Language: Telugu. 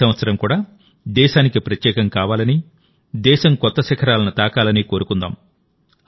ఈ సంవత్సరం కూడా దేశానికి ప్రత్యేకం కావాలని దేశం కొత్త శిఖరాలను తాకాలని కోరుకుందాం